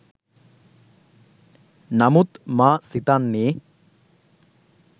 නමුත් මා සිතන්නේ